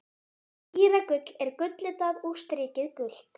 Skíragull er gulllitað og strikið gult.